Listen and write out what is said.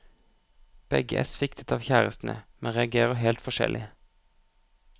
Begge er sviktet av kjærestene, men reagerer helt forskjellig.